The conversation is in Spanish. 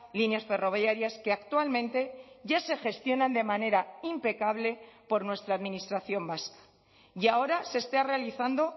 líneas ferroviarias que actualmente ya se gestionan de manera impecable por nuestra administración vasca y ahora se está realizando